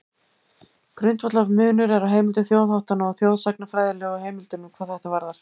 Grundvallarmunur er á heimildum þjóðháttanna og þjóðsagnafræðilegu heimildunum hvað þetta varðar.